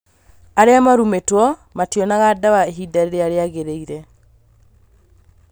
arĩa marũmĩtwo mationaga dawa ihinda rĩrĩa rĩagĩrĩire